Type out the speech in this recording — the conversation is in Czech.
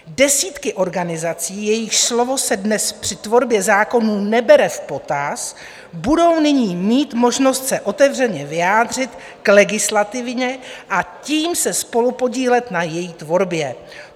Desítky organizací, jejichž slovo se dnes při tvorbě zákonů nebere v potaz, budou nyní mít možnost se otevřeně vyjádřit k legislativě a tím se spolupodílet na její tvorbě.